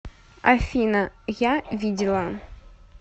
афина я видела